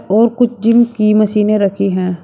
और कुछ जिम की मशीनें रखी है।